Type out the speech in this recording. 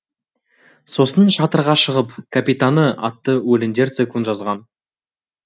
сосын шатырға шығып капитаны атты өлеңдер циклын жазған